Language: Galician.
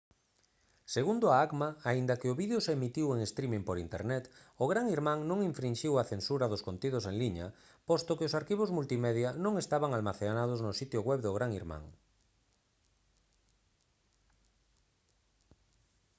segundo a acma aínda que o vídeo se emitiu en streaming por internet o gran irmán non infrinxiu a censura dos contidos en liña posto que os arquivos multimedia non estaban almacenados no sitio web do gran irmán